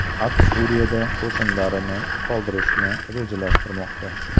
AQSh Suriyada qo‘shinlarini qoldirishni rejalashtirmoqda.